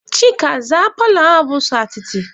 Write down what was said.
Chika, zaa paalọ ahụ bụ sọ atịtị!